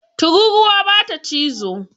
Tururuwa bata cizo